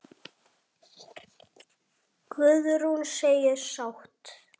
Guðrún segist sátt.